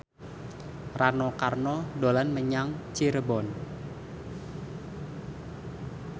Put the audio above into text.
Rano Karno dolan menyang Cirebon